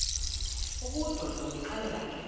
obudoda ndonixelela ke